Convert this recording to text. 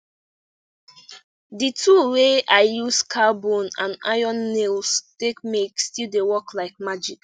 de tool wey i use cow bone and iron nails take make still dey work like magic